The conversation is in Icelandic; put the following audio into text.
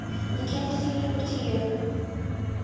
Ég kem til þín upp úr tíu.